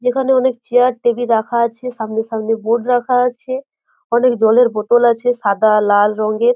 যেখানে অনেক chair table রাখা আছে। সামনে সামনে বোর্ড রাখা আছে। অনেক জলের বোতল আছে সাদা লাল রঙের ।